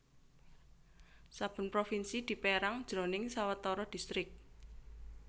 Saben provinsi dipérang jroning sawetara distrik